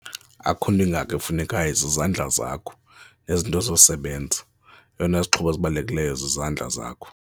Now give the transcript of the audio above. Akukho nto ingako efunekayo zizandla zakho nezinto zosebenza, eyona izixhobo ezibalulekileyo zizandla zakho.